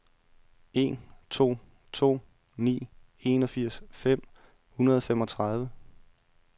en to to ni enogfirs fem hundrede og femogtredive